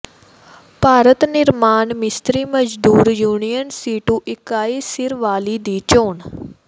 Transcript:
ਭਾਰਤ ਨਿਰਮਾਣ ਮਿਸਤਰੀ ਮਜ਼ਦੂਰ ਯੂਨੀਅਨ ਸੀਟੂ ਇਕਾਈ ਸੀਰਵਾਲੀ ਦੀ ਚੋਣ